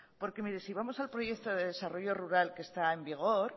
porque mire si vamos al proyecto de desarrollo rural que está en vigor